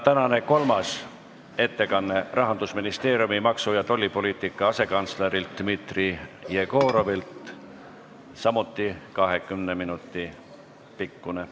Tänane kolmas ettekanne on Rahandusministeeriumi maksu- ja tollipoliitika asekantslerilt Dmitri Jegorovilt, see on samuti 20 minuti pikkune.